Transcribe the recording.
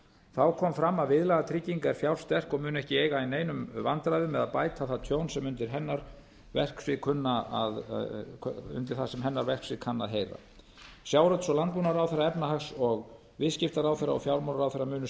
þá kom fram að viðlagatrygging er fjársterk og mun ekki eiga í neinum vandræðum með að bæta það tjón sem kann að heyra undir hennar verksvið sjávarútvegs og landbúnaðarráðherra efnahags og viðskiptaráðherra og fjármálaráðherra munu